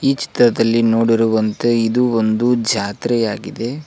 ಈ ಚಿತ್ರದಲ್ಲಿ ನೋಡಿರುವಂತೆ ಇದು ಒಂದು ಜಾತ್ರೆಯಾಗಿದೆ.